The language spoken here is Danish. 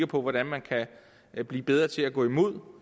på hvordan man kan blive bedre til at gå imod